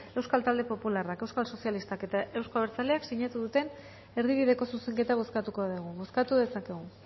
euskal talde popularrak euskal sozialistak eta euzko abertzaleak sinatu duten erdibideko zuzenketa bozkatuko dugu bozkatu dezakegu